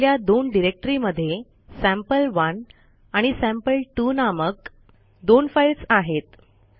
आपल्या दोन डिरेक्टरी मध्ये सॅम्पल1 आणि सॅम्पल2 नामक दोन फाईल्स आहेत